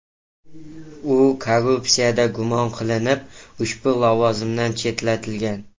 U korrupsiyada gumon qilinib, ushbu lavozimdan chetlatilgan .